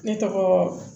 Ne tɔgɔ